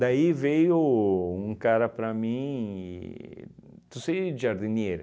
Daí veio um cara para mim e... Você é jardineiro?